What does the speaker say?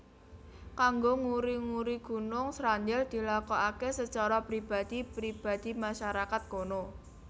Kanggo nguri uri Gunung Srandil dilakoké secara pribadi pribadi masyarakat kono